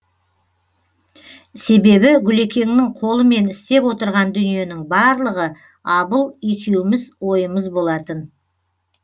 себебі гүлекеңнің қолымен істеп отырған дүниенің барлығы абыл екеуміз ойымыз болатын